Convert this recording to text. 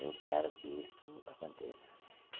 Eu espero que isso aconteça.